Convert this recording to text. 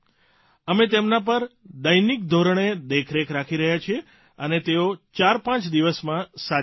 અમે તેમના પર દૈનિક ધોરણે દેખરેખ રાખી રહ્યા છીએ અને તેઓ ચારપાંચ દિવસમાં સાજા થઇ જશે